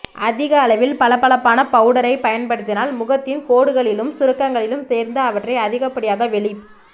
அதிக அளவில் பளபளப்பான பவுடரை பயன்படுத்தினால் முகத்தின் கோடுகளிலும் சுருக்கங்களிலும் சேர்ந்து அவற்றை அதிகப்படியாக வெளிப்